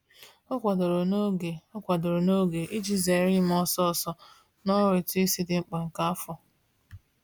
O kwadoro n'oge O kwadoro n'oge iji zere ime ọsọọsọ n'ọrụ ụtụisi dị mkpa nke afọ.